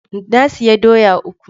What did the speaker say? Na sayi doya uku.